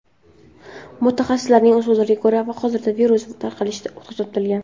Mutaxassislarning so‘zlariga ko‘ra, hozirda virus tarqalishi to‘xtatilgan.